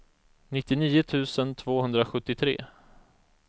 nittionio tusen tvåhundrasjuttiotre